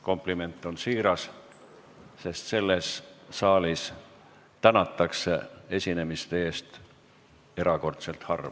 Kompliment on siiras, sest selles saalis tänatakse esinemiste eest erakordselt harva.